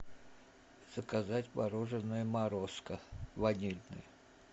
заказать мороженое морозко ванильное